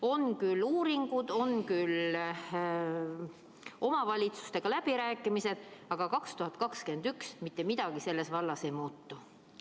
On küll uuringud, on küll omavalitsustega läbirääkimised, aga 2021 ei muutu selles vallas mitte midagi.